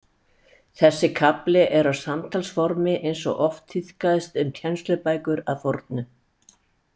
Þessi kafli er á samtalsformi eins og oft tíðkaðist um kennslubækur að fornu.